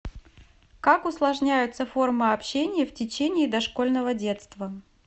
как усложняются формы общения в течение дошкольного детства